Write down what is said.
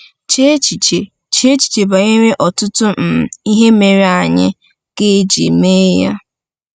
Chee echiche Chee echiche banyere ọtụtụ um ihe mere anyị ga-eji mee ya!